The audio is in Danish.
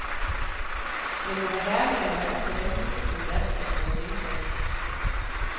Men det var herligt at mærke, hvordan publikum værdsatte vores indsats.